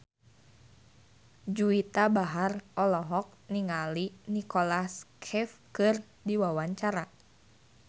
Juwita Bahar olohok ningali Nicholas Cafe keur diwawancara